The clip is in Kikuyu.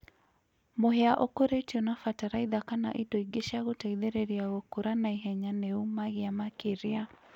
mũhĩa ũkũrĩtĩo na bataraĩtha kana ĩndo ĩngĩ cĩa gũteĩthĩrĩrĩa gũkũra naĩhenya nĩũmagĩa makĩrĩa